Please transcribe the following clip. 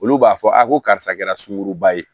Olu b'a fɔ a ko karisa kɛra sunkuruba ye